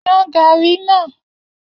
Yan gàárì náà!